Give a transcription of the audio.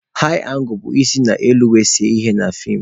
Haị angụl bụ isi n'elu were see ihe na feem.